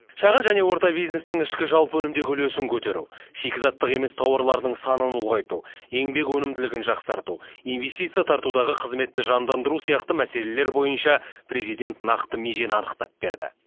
шағын және орта бизнестің ішкі жалпы өнімдегі үлесін көтеру шикізаттық емес тауарлардың санын ұлғайту еңбек өнімділігін жақсарту инвестиция тартудағы қызметті жандандыру сияқты мәселелер бойынша президент нақты межені анықтап берді